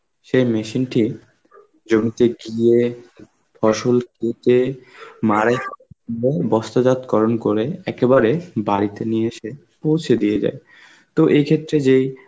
সেই machine টি জমিতে গিয়ে, ফসল কেটে, মারাই বস্তজাতকরণ করে একেবারে বাড়িতে নিয়ে এসে পৌঁছে দিয়ে যায়. তো এই ক্ষেত্রে যেই